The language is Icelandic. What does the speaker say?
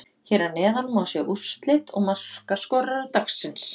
Hér að neðan má sjá úrslit og markaskorara dagsins: